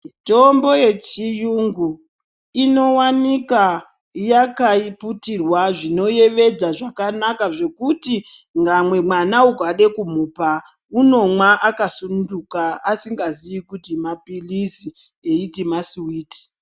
Mitombo yechiyungu inownikwa yakiputirwa zvinoyevedza zvakanaka zvokuti ngamwe mwana ukade kumupa unomwa akasungunuka asingaziyi kuti .apilitsi eyiti maswiti.